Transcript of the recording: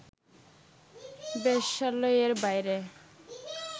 বেশ্যালয়ের বাইরে